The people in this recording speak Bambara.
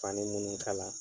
Fani munnu kala.